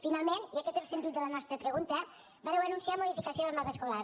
finalment i aquest és el sentit de la nostra pregunta vàreu anunciar la modificació del mapa escolar